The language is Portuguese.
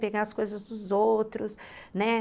Pegar as coisas dos outros, né?